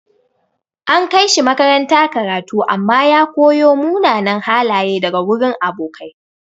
An kai shi makaranta karatu amma ya koyo munanan halaye daga wurin abokai.